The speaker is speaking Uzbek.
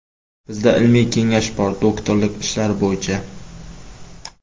Bizda ilmiy kengash bor doktorlik ishlari bo‘yicha.